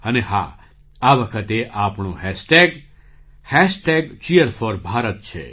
અને હાઆ વખતે આપણો હૅશટેગ Cheer4Bharat છે